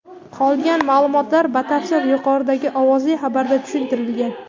Qolgan maʼlumotlar batafsil yuqoridagi ovozli xabarda tushuntirilgan.